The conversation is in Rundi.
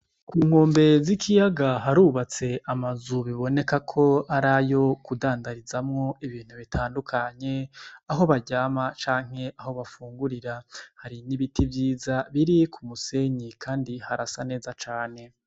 Ku nkombe z'ikiyaga harubatse amazu biboneka ko arayo kudandarizamwo ibintu bitandukanye aho baryama canke aho bafungurira hari ibiti vyiza biri ku musenyi kandi harasa neza cane.